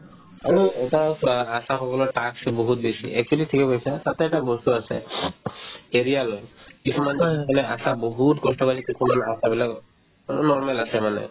আৰু এটা চোৱা আশাসকলৰ task বহুত বেছি actually ঠিকে কৈছা তাতে এটা বস্তু আছে career লৈ কিছুমান মানে আশা বহুত কষ্ট কৰে কিছুমান আশাবিলাকো হ'লেও normal আছে মানে